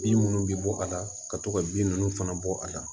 Bin minnu bɛ bɔ a la ka to ka bin ninnu fana bɔ a la